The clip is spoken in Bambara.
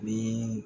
Ni